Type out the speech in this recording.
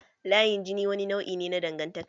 Layin jini wani nau'i ne na dangantaka.